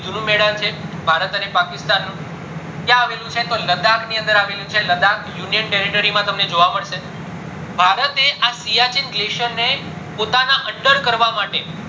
છે ભારત અને પક્સ્તાન નું ક્યાં આવેલું છે તો લાદાક ની અનાદર આવેલું છે તો લાદાક union territory માં જોવામ મળશે ભારતે આ શિયાચીન glacier ને પોતાના under કરવા માટે